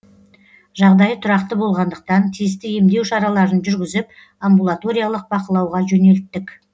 жағдайы тұрақты болғандықтан тиісті емдеу шараларын жүргізіп амбулаториялық бақылауға жөнелттік